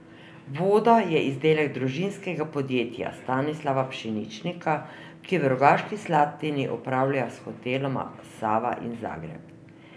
Voda je izdelek družinskega podjetja Stanislava Pšeničnika, ki v Rogaški Slatini upravlja s hoteloma Sava in Zagreb.